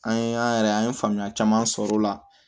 An ye an yɛrɛ an ye faamuya caman sɔrɔ o la